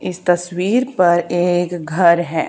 इस तस्वीर पर एक घर है।